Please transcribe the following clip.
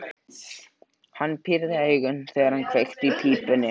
Hann pírði augun, þegar hann kveikti í pípunni.